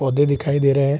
पौधे दिखाई दे रहे हैं |